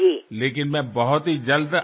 కానీ త్వరలో నేను తప్పకుండా వస్తాను